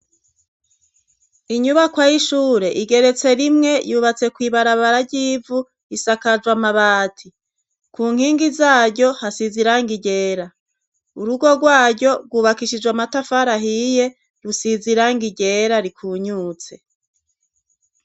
inyubakwa y'ishure igeretse rimwe yubatse kw'ibarabara ry'ivu isakajwe mabati ku nkingi zaryo hasiziranga iryera urugo rwaryo rwubakishijwe amatafara ahiye rusize irangi ryera rikunyutse